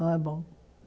Não é bom.